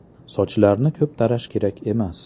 Sochlarni ko‘p tarash kerak emas.